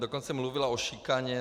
Dokonce mluvila o šikaně.